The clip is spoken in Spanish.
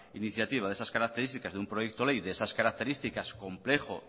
iniciativa de esas características de un proyecto de ley de esas características complejo